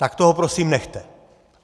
Tak toho prosím nechte.